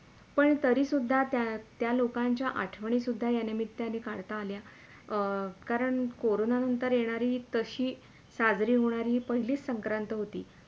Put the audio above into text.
पण तरी सुद्धा त्या त्या लोकांच्या आठवणी सुदधा या निमित्याने काढता आल्या अं कारण कोरोंना नंतर येणारी तशी साजरी होणारी ही पहिलीच संक्रांत होती